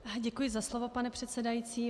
Děkuji za slovo, pane předsedající.